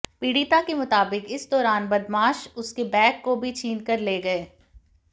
पीडि़ता के मुताबिक इस दौरान बदमाश उसके बैग को भी छीन कर ले गए